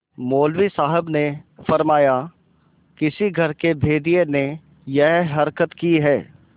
मौलवी साहब ने फरमाया किसी घर के भेदिये ने यह हरकत की है